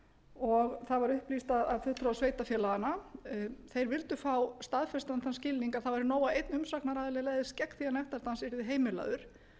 af fulltrúa sveitarfélaganna að þeir vildu fá staðfestan þann skilning að það væri nóg að einn umsagnaraðili legðist gegn því að nektardans yrði heimilaður